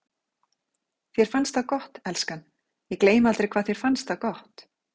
Þér fannst það gott, elskan, ég gleymi aldrei hvað þér fannst það gott.